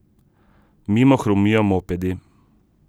Mimo hrumijo mopedi.